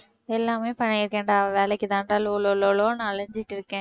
எல்லாமே பண்ணியிருக்கேன்டா வேலைக்கு தான்டா லோலோலோலோன்னு அலைஞ்சுட்ருக்கேன்